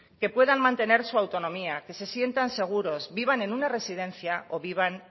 que puedan mantener su autonomía que se sienten seguros vivan en una residencia o vivan